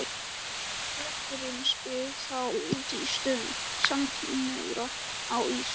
Klerkurinn spyr þá út í stöðu samkynhneigðra á Ís